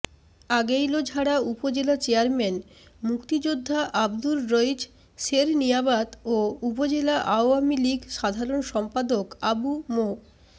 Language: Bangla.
আগৈলঝাড়া উপজেলা চেয়ারম্যান মুক্তিযোদ্ধা আব্দুর রইচ সেরনিয়াবাত ও উপজেলা আওয়ামী লীগ সাধারণ সম্পাদক আবু মো